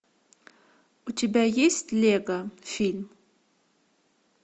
у тебя есть лего фильм